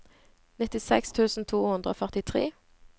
nittiseks tusen to hundre og førtitre